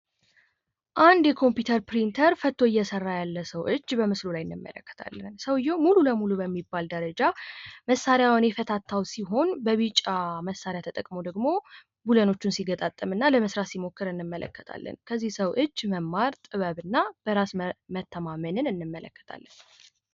አንድ የኮምፐመዩተር ፕሪንተር ፈቶ እየሰራ ያለ ሰዉ እጅ በምስሉ ላይ እንመለከታለን። ሰዉየዉ ሙሉ ለሙሉ በሚባል ደረጃ መሳሪያዉን የፈታታዉ ሲሆን፤ በቢጫ መሳሪያ ተጠቅሞ ደግሞ ቡሎኖችን እንደገና ሊገጥም ሲሞክር እንመለከታለን። ከዚህ ሰዉ እጅ መማር ጥበብን እና በራስ መተማመን እንመለከታለን።